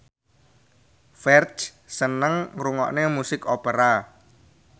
Ferdge seneng ngrungokne musik opera